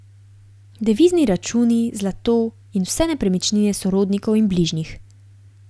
Devizni računi, zlato in vse nepremičnine sorodnikov in bližnjih.